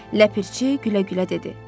Ləpirçi gülə-gülə dedi.